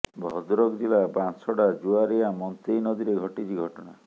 ଭଦ୍ରକ ଜିଲ୍ଲା ବାଂଶଡ଼ା ଜୁଆରୀଆ ମନ୍ତେଇ ନଦୀରେ ଘଟିଛି ଘଟଣା